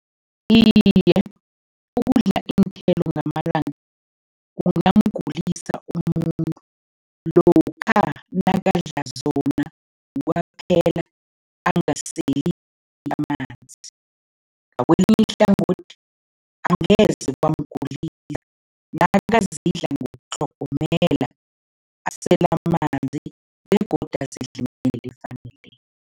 Iye, ukudla iinthelo ngamalanga kungamgulisa umuntu lokha nakadla zona kwaphela angaseli amanzi. Ngakwelinye ihlangothi, angeze zamgulisa nakazidla ngokutlhogomela, asele amanzi begodu azidle ngendlela efaneleko.